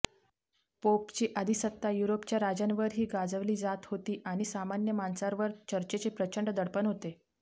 पोपची अधिसत्ता युरोपच्या राजांवरही गाजविली जात होती आणि सामान्य माणसांवर चर्चचे प्रचंड दडपण होते